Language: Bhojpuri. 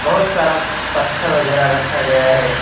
बहोत सारा पत्थर वगैरह रखा गया है।